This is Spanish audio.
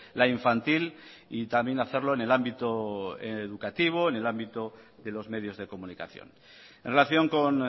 la infantil y también hacerlo en el ámbito educativo en el ámbito de los medios de comunicación en relación con